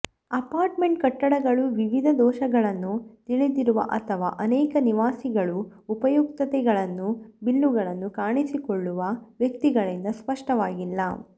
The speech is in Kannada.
ಅಪಾರ್ಟ್ಮೆಂಟ್ ಕಟ್ಟಡಗಳು ವಿವಿಧ ದೋಷಗಳನ್ನು ತಿಳಿದಿರುವ ಅಥವಾ ಅನೇಕ ನಿವಾಸಿಗಳು ಉಪಯುಕ್ತತೆಗಳನ್ನು ಬಿಲ್ಲುಗಳನ್ನು ಕಾಣಿಸಿಕೊಳ್ಳುವ ವ್ಯಕ್ತಿಗಳಿಂದ ಸ್ಪಷ್ಟವಾಗಿಲ್ಲ